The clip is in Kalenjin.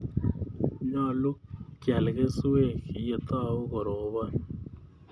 Nyalu keal keswek yetau koropon